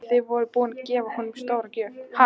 En þið voruð búin að gefa honum stórgjöf.